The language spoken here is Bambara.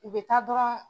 U bɛ taa dɔrɔn